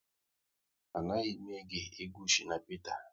A naghị m ege egwu Shina Peter